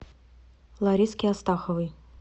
лариске астаховой